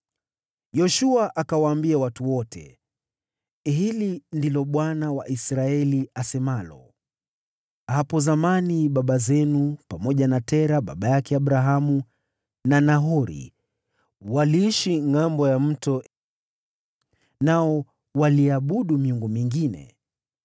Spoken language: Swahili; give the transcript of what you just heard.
Yoshua akawaambia watu wote, “Hili ndilo Bwana , Mungu wa Israeli, asemalo: ‘Hapo zamani baba zenu, pamoja na Tera baba yake Abrahamu na Nahori, waliishi ngʼambo ya Mto nao waliiabudu miungu mingine.